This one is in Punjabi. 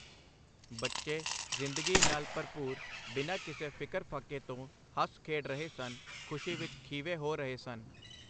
ਬੱਚੇ, ਜ਼ਿੰਦਗੀ ਨਾਲ ਭਰਪੂਰ, ਬਿਨਾ ਕਿਸੇ ਫਿਕਰ ਫ਼ਾਕੇ ਤੋ ਹੱਸ ਖੇਡ ਰਹੇ ਸਨ, ਖ਼ੁਸ਼ੀ ਵਿੱਚ ਖੀਵੇ ਹੋ ਰਹੇ ਸਨ .